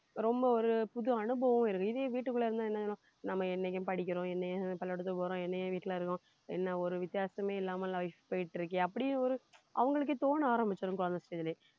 ரொம்ப ஒரு புது அனுபவம் இருக்கு இதே வீட்டுக்குள்ள இருந்தா என்ன நம்ம என்னைக்கு படிக்கிறோம் என்னைக்கு பள்ளிக்கூடத்துக்கு போறோம் வீட்டுல இருக்கோம் என்ன ஒரு ஒரு வித்தியாசமே இல்லாமல் life போயிட்டு இருக்கு அப்படி ஒரு அவங்களுக்கே தோண ஆரம்பிச்சிடும் குழந்த stage லயே